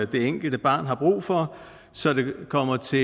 det enkelte barn har brug for så det kommer til